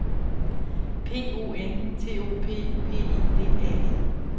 P O N T O P P I D A N